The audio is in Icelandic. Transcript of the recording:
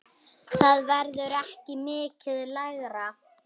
Það verður ekki mikið lægra.